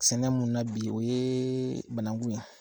Sɛnɛ mun na na bi o ye banakun ye.